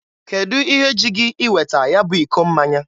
Kedụ ihe ji gị iweta ya bụ iko mmanya?